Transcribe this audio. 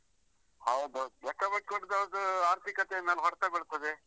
ಹೌದು ಹೌದು ಲೆಕ್ಕ ಬಿಟ್ಟುಕೊಡದೆ ಇರುದು ಆರ್ಥಿಕತೆಯ ಮೇಲೆ ಹೊಡ್ತ ಬೀಳ್ತದೆ.